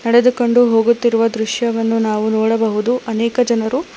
ನಡೆದುಕೊಂಡು ಹೋಗುತ್ತಿರುವ ದೃಶ್ಯವನ್ನು ನಾವು ನೋಡಬಹುದು ಅನೇಕ ಜನರು--